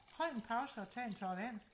hold en pause og tag en tår vand